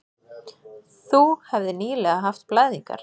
Þú hefðir nýlega haft blæðingar.